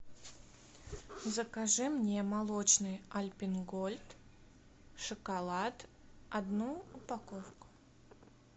закажи мне молочный альпен гольд шоколад одну упаковку